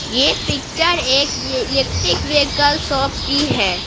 ये पिक्चर एक electric vehicle shop की है।